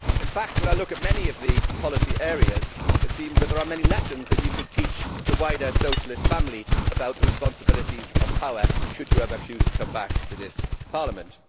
In fact when I look at many of the policy areas, it seems there are many lessons that you could teach the wider Socialist family about the responsibilities of power should you ever choose to come back to this Parliament.